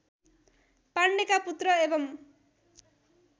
पाण्डेका पुत्र एवम्